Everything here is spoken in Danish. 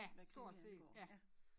Hvad krimier angår ja